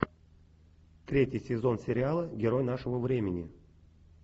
третий сезон сериала герой нашего времени